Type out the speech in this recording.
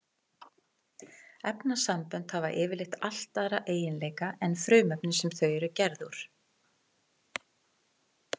Efnasambönd hafa yfirleitt allt aðra eiginleika en frumefnin sem þau eru gerð úr.